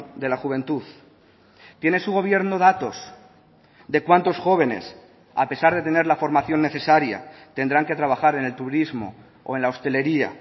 de la juventud tiene su gobierno datos de cuántos jóvenes a pesar de tener la formación necesaria tendrán que trabajar en el turismo o en la hostelería